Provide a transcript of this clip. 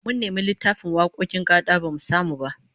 Mun nemi littafin wakokin gad'a bamu samu ba